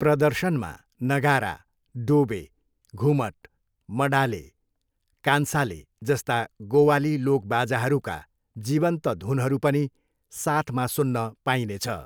प्रदर्शनमा नगारा, डोबे, घुमट, मडाले, कान्साले जस्ता गोवाली लोकबाजाहरूका जीवन्त धुनहरू पनि साथमा सुन्न पाइने छ।